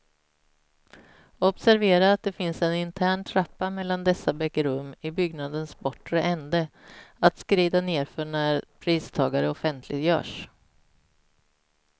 Observera att det finns en intern trappa mellan dessa bägge rum i byggnadens bortre ände, att skrida nedför när pristagare offentliggörs.